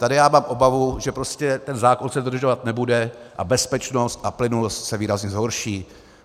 Tady já mám obavu, že prostě ten zákon se dodržovat nebude a bezpečnost a plynulost se výrazně zhorší.